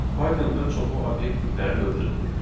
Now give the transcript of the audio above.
Pythonda çoxlu obyekt tipləri mövcuddur.